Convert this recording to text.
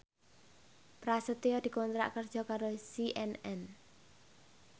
Prasetyo dikontrak kerja karo CNN